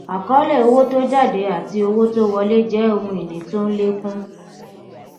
àkọólè owó tó jáde àti owó tó wọlé jẹ ohun ìní tó ń lékún